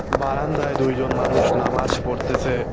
বারান্দায় দুইজন মানুষ নামাজ পড়তেসে।